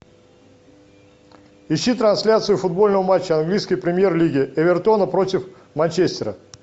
ищи трансляцию футбольного матча английской премьер лиги эвертона против манчестера